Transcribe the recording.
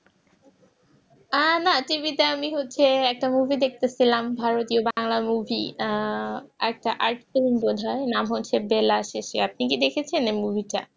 আহ না TV তে আমি হচ্ছে একটা movie দেখতে ছিলাম ভারতীয় বাংলা movie আহ একটা art film বোধহয় নাম হচ্ছে বেলাশেষে আপনি কি দেখেছেন এই movie টা?